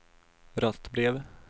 röstbrev